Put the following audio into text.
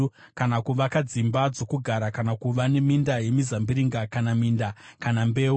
kana kuvaka dzimba dzokugara, kana kuva neminda yemizambiringa, kana minda, kana mbeu.